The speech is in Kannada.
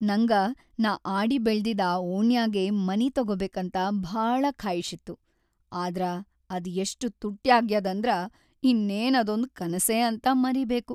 ನಂಗ ನಾ ಆಡಿಬೆಳದಿದ್‌ ಆ ಓಣ್ಯಾಗೇ ಮನಿ ತೊಗೊಬೇಕಂತ ಭಾಳ ಖಾಯ್ಷಿತ್ತು, ಆದ್ರ ಅದ್‌ ಎಷ್ಟ್‌ ತುಟ್ಯಾಗ್ಯಾದಂದ್ರ ಇನ್ನೇನ್‌ ಅದೊಂದ್ ಕನಸೇ ಅಂತ ಮರೀಬೇಕು.